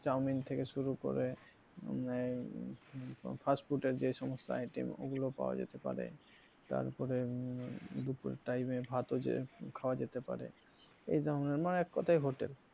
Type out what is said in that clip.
chowmin থেকে শুরু করে আহ fast food এর যে সমস্ত item ওগুলো পাওয়া যেতে পারে তারপরে দুপুরের time এ ভাতও যে খাওয়া যেতে পারে এই ধরনের মানে এক কথায় hotel